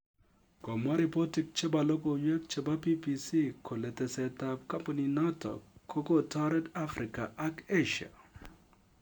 Komwa ripotik chebo logoiwek chebo BBC koletesetab kampunit notok kokotaret Afrika ak Asia